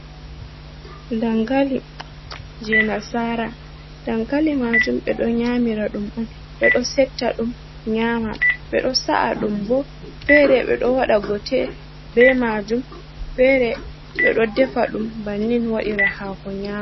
Dankali je nasara dangali majum ɓedo nyamira dum on ɓedo setta dum nyama, ɓedo sa’a dum bo fere be do wada gote be majum fere ɓedo defa dum bannin wadira hako nyama.